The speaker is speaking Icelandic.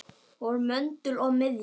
Hún var möndull og miðja.